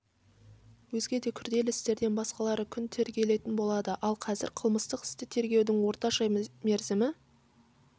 өзге де күрделі істерден басқалары күн тергелетін болады ал қазір қылмыстық істі тергеудің орташа мерзімі